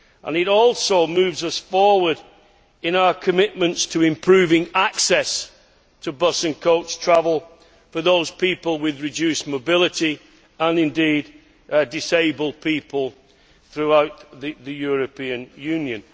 It also moves us forward in our commitment to improving access to bus and coach travel for those people with reduced mobility, and indeed disabled people, throughout the European Union.